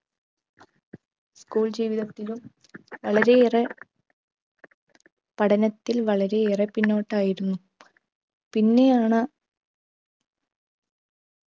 school ജീവിതത്തിലും വളരെയേറെ പഠനത്തിൽ വളരെയേറെ പിന്നോട്ടായിരുന്നു പിന്നെയാണ്